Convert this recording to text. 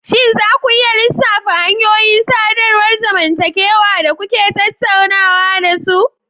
Shin za ku iya lissafa hanyoyin sadarwar zamantakewa da kuke tattaunawa da su?